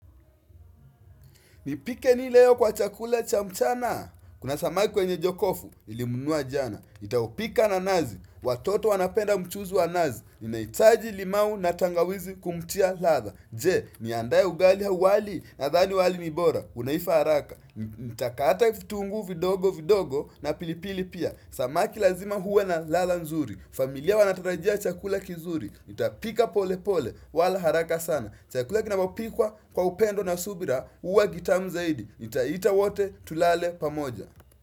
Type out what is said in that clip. Nipike ni leo kwa chakula cha mchana? Kuna samaki kwenye jokofu, nilimnunua jana. Nitaopika na nazi, watoto wanapenda mchuzi wa nazi. Ninahitaji limau na tangawizi kumtia latha. Je, niandaye ugali au wali nadhani wali ni bora. Unaifa haraka. Nitakata vitunguu vidogo vidogo na pilipili pia. Samaki lazima huwe na latha nzuri. Familia wanatarajia chakula kizuri. Nitapika pole pole, wala haraka sana. Chakula kinapopikwa kwa upendo na subira huwa gitamu zaidi. Nitaita wote tulale pamoja.